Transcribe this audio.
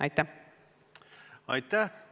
Aitäh!